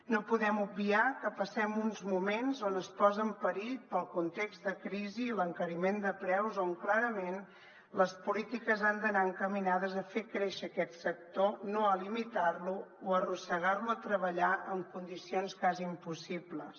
no podem obviar que passem uns moments on es posa en perill pel context de crisi i l’encariment de preus on clarament les polítiques han d’anar encaminades a fer créixer aquest sector no a limitar lo o arrossegar lo a treballar en condicions quasi impossibles